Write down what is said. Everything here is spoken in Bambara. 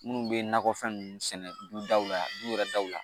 Minnu bɛ nakɔfɛn ninnu sɛnɛ du daw la du yɛrɛ daw la